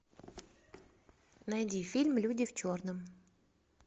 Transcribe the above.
найди фильм люди в черном